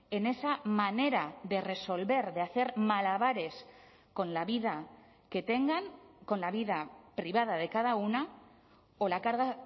en esa manera de resolver de hacer malabares con la vida que tengan con la vida privada de cada una o la carga